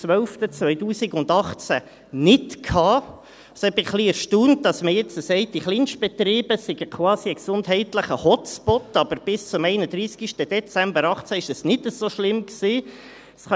Es hat mich etwas erstaunt, dass man jetzt sagt, die Kleinstbetriebe seien quasi ein gesundheitlicher Hotspot, wohingegen es bis zum 31.12.2018 nicht so schlimm war.